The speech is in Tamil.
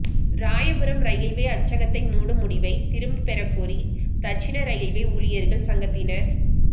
ராயபுரம் ரயில்வே அச்சகத்தை மூடும் முடிவைத் திரும்பப் பெறக்கோரி தட்சிண ரயில்வே ஊழியா்கள் சங்கத்தினா்